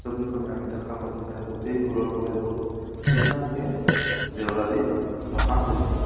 ছবিখনি আমি দেখা পাইছোঁ যে গোটেই ফুলৰ পুলিবোৰ ধুনীয়াকে জেঁওৰা দি ৰখা হৈছে।